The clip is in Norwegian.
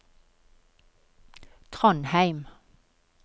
Trondheim